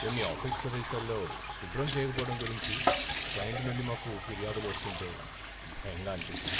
కొన్ని ఆఫీసు ప్రదేశాల్లో శుభ్రం చేయకపోవడం గురించి క్లయింట్ నుండి మాకు ఫిర్యాదులు వస్తూంటే భయంగా అనిపించింది.